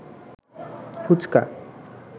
fuchka